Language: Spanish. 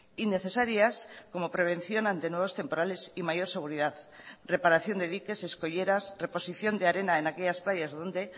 y necesarias como prevención ante nuevos temporales y mayor seguridad reparación de diques escolleras reposición de arena en aquellas playas donde